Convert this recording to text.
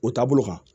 O taabolo kan